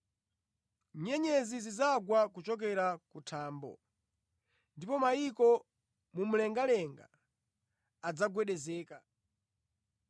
nyenyezi zidzagwa kuchokera ku thambo, ndipo mayiko mumlengalenga adzagwedezeka!’